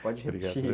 Pode repetir.